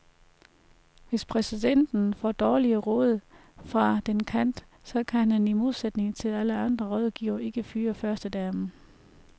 Hvis præsidenten får dårlige råd fra den kant, så kan han i modsætning til alle andre rådgivere ikke fyre førstedamen.